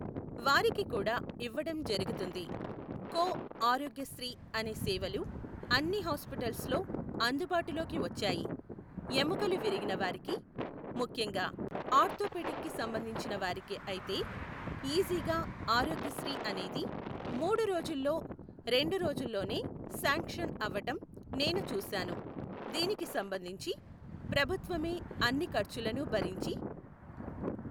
వారికి కూడా ఇవ్వటం జరుగుతుంది. కొ ఆరోగ్యశ్రీ అనే సేవలు అన్ని హాస్పిటల్స్లో అందుబాటులోకి వచ్చాయి, ఎముకలు విరిగిన వారికి ముఖ్యంగా ఆర్థోపెడిక్కి సంబంధించిన వారికి అయితే ఈజీగా ఆరోగ్యశ్రీ అనేది మూడు రోజుల్లో రెండు రోజుల్లోనే శాంక్షన్ అవ్వటం నేను చూశాను. దీనికి సంబంధించి ప్రభుత్వమే అన్ని ఖర్చులను భరించి